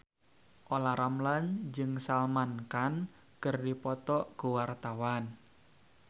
Olla Ramlan jeung Salman Khan keur dipoto ku wartawan